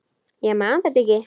Ég man þetta ekki.